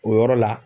O yɔrɔ la